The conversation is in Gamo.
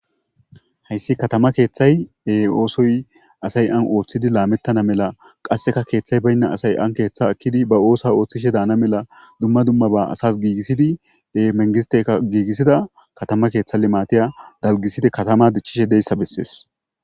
Hayssi katama keeththay oosoy asay an ooththidi laamettana mela qasseka keeththay baynna asay an keeththa akkidi ba oosa ooththishe daana mela dumma dummaba asas giigisidi menggistteka giigissida katama keeththa limaatiya dalgiside katama dichchishe deyssa bessees.